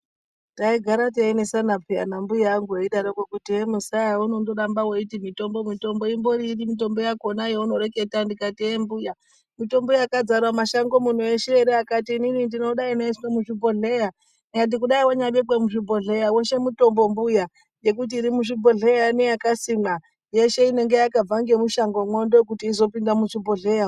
Taigara teinesana piya nambuya angu eidaroko hee muzaya heunondoramba weiti mitombo mitombo imbori iri mitombo yakona yaunoreketa ndikati hee mbuya mitombo yakadzara mumashango muno eshe here akati inini ndinoda inoiswe muzvibhodhleya ndikati kudai wanyabekwa muzvibhodhleya weshe mutombo mbuya ngekuti iri muzvibhodhleya inei neyakasimwa yeshe inenge yakabva ngemushangomwo ndokuti izopinda muzvibhodhleya .